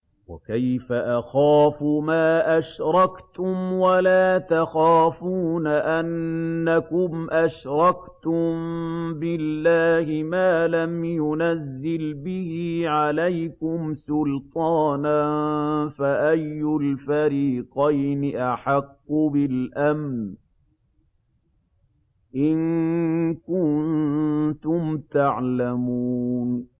وَكَيْفَ أَخَافُ مَا أَشْرَكْتُمْ وَلَا تَخَافُونَ أَنَّكُمْ أَشْرَكْتُم بِاللَّهِ مَا لَمْ يُنَزِّلْ بِهِ عَلَيْكُمْ سُلْطَانًا ۚ فَأَيُّ الْفَرِيقَيْنِ أَحَقُّ بِالْأَمْنِ ۖ إِن كُنتُمْ تَعْلَمُونَ